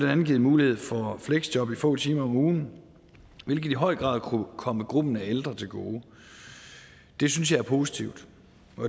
andet givet mulighed for fleksjob i få timer om ugen hvilket i høj grad kunne komme gruppen af ældre til gode det synes jeg er positivt